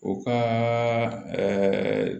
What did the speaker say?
U ka